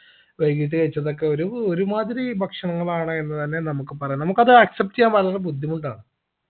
വൈകീട്ട് കഴിച്ചതൊക്കെ ഒരു ഒരുമാതിരി ഭക്ഷണങ്ങളാണ് എന്ന് തന്നെ നമുക്ക് പറയാം നമുക്കത് accept എയ്യാൻ വളരെ ബുദ്ധിമുട്ടാണ്